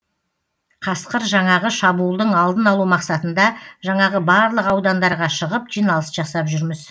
қасқыр жаңағы шабуылдың алдын алу мақсатында жаңағы барлық аудандарға шығып жиналыс жасап жүрміз